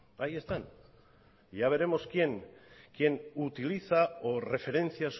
ahí están y ya veremos quien utiliza o referencia